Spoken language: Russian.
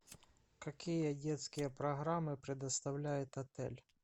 какие детские программы предоставляет отель